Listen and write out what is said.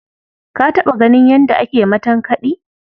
Ka taɓa ganin yadda ake matankaɗi?